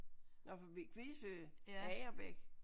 Nåh forbi Kvie Sø. Agerbæk?